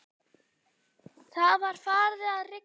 Það var farið að rigna.